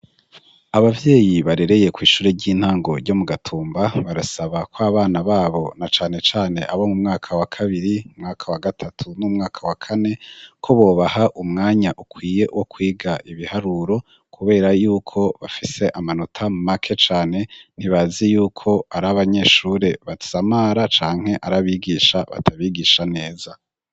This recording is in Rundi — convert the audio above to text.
ababyeyi barereye ku ishure ry'intango ryo mu gatumba barasaba ko abana babo na cane cane abo mu mwaka wa kabiri, mumwaka wa gatatu ,n'umwaka wa kane ko bobaha umwanya ukwiye wo kwiga ibiharuro kubera y'uko bafise amanota make cane ntibazi yuko ari abanyeshure batsamara canke arabigisha batabigisha neza.